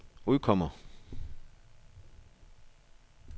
udkommer